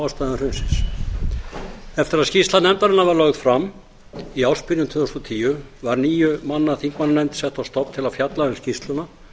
ástæðum hrunsins eftir að skýrsla nefndarinnar var lögð fram í ársbyrjun tvö þúsund og tíu var níu manna þingmannanefnd sett á stofn til að fjalla um skýrsluna